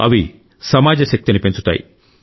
అవి సమాజ శక్తిని పెంచుతాయి